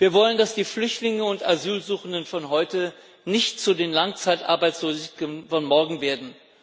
Wir wollen, dass die Flüchtlinge und Asylsuchenden von heute nicht zu den Langzeitarbeitslosen von morgen werden.